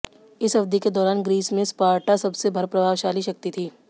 इस अवधि के दौरान ग्रीस में स्पार्टा सबसे प्रभावशाली शक्ति थी